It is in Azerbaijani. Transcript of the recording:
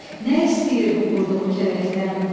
nə istəyir bu qurduğu kələkdən?